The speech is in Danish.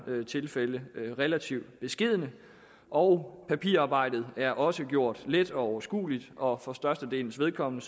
tilfælde relativt beskedne og papirarbejdet er også gjort let og overskueligt og for størstedelens vedkommende